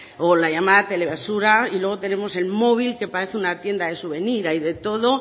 o la llamada tele basura y luego tenemos el móvil que parece una tienda de suvenir hay de todo